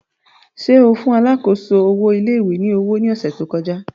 Ṣe o fun alákòóso owo ilé ìwé ni owo ni ọsẹ to kọja?